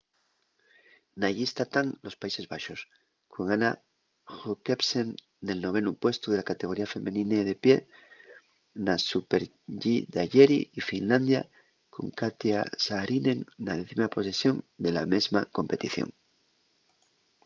na llista tán los países baxos con anna jochemsen nel novenu puestu de la categoría femenina de pie na super-g d'ayeri y finlandia con katja saarinen na décima posición de la mesma competición